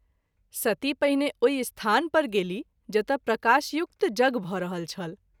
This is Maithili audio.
सती पहिने ओहि स्थान पर गेलीह जतय प्रकाशयुक्त यज्ञ भ’ रहल छल।